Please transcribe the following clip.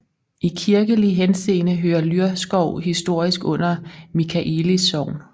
I kirkelig henseende hører Lyrskov historisk under Michaelis Sogn